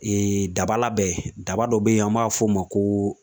daba labɛn, daba dɔ bɛ yen ,an b'a f'o ma ko